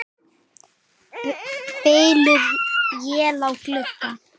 Bylur él á glugga.